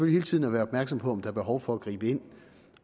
hele tiden at være opmærksom på om der er behov for at gribe ind